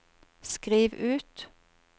skriv ut